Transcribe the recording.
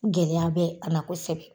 Gɛlɛya bɛ a la kosɛbɛ.